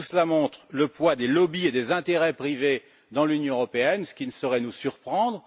tout cela montre le poids des lobbys et des intérêts privés dans l'Union européenne, ce qui ne saurait nous surprendre.